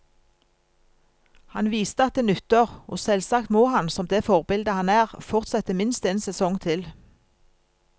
Han viste at det nytter, og selvsagt må han, som det forbilde han er, fortsette minst en sesong til.